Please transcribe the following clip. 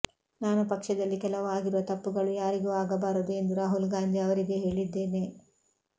ನಾನು ಪಕ್ಷದಲ್ಲಿ ಕೆಲವು ಆಗಿರುವ ತಪ್ಪುಗಳು ಯಾರಿಗೂ ಆಗಬಾರದು ಎಂದು ರಾಹುಲ್ ಗಾಂಧಿ ಅವರಿಗೆ ಹೇಳಿದ್ದೇನೆ